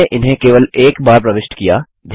हमने इन्हें केवल एक बार प्रविष्ट किया